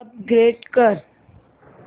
upgrade कर